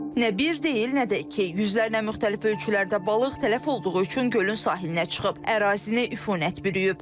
Nə bir deyil, nə də iki, yüzlərlə müxtəlif ölçülərdə balıq tələf olduğu üçün gölün sahilinə çıxıb, ərazini üfunət bürüyüb.